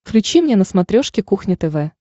включи мне на смотрешке кухня тв